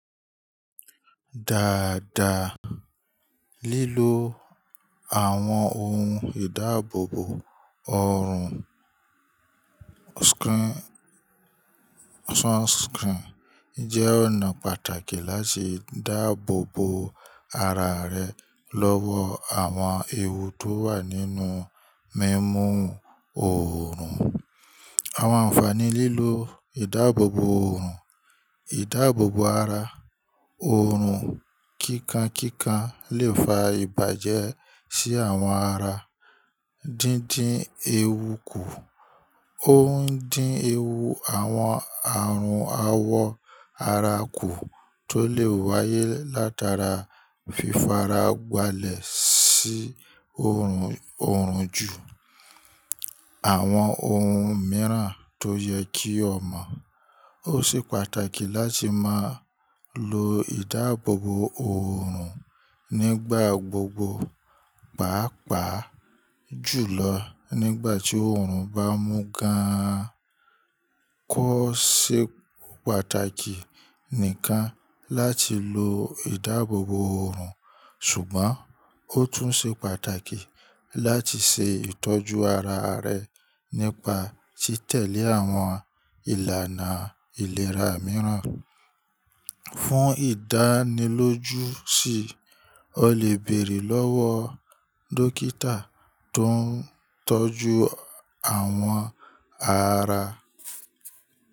Dáadáa, lílo àwọn ohun ìdáàbòbò ọrùn sunscreen jẹ́ ọ̀nà pàtàkì láti dáàbòbò ara rẹ lọ́wọ́ àwọn ewu tó wà nínú mímú oòrùn. Àwọn ànfàní lílo ìdáàbòbò oòrùn, ìdáàbòbò ara oòrùn kíkan kíkan lè fa ìbàjẹ́ sí àwọn ara dídín ewu kù. Ó ń dín ewu àwọn àrùn awọ ara kù tó lè wáyé látara fífaragbálẹ̀ sí oorun ju, àwọn ohun mìíràn tó yẹ kí o mọ̀. Ó ṣe pàtàkì láti máa lo ìdáàbòbò oòrùn nígbà gbogbo, pàápàá jùlọ nígbà tí oorun bá mú gán an. Kó ṣe pàtàkì nìkan láti lo ìdáàbòbò oòrùn, ṣùgbọ́n ó tún ṣe pàtàkì láti ṣe ìtọ́jú ara rẹ nípa tí tẹ̀lé àwọn ìlànà ìlera mìíràn. Fún ìdánilójú sì, o lè bèrè lọ́wọ́ dókítà tó ń tọ́jú àwọn ara.